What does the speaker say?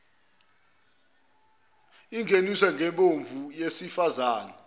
ingeniswe ngembewu yesifazane